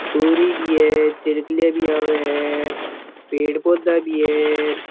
तुरी भी है चरकल्या भी आवे है पेड़ पौधा भी है र।